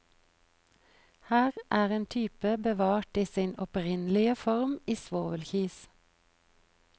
Her er en type bevart i sin opprinnelige form i svovelkis.